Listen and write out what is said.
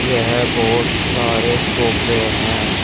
यह बहोत सारे सोफे हैं।